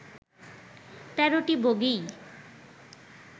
তেরোটি বগিই